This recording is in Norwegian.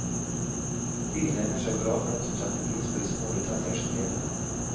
Byen egner seg bra for den som setter pris på de små detaljers gleder.